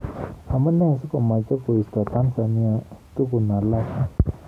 Amunee sikomeche koisto Tanzania tukun alak.